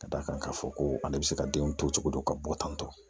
Ka d'a kan k'a fɔ ko ale bɛ se ka denw to cogo dɔ ka bɔ tantɔ